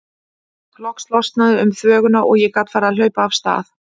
Loks losnaði um þvöguna og ég gat farið að hlaupa af stað.